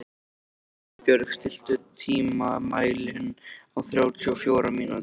Himinbjörg, stilltu tímamælinn á þrjátíu og fjórar mínútur.